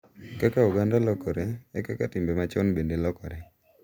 Kaka oganda lokore, e kaka timbe machon bende lokore,